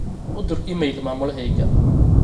u dhir iimayl mamulaheyga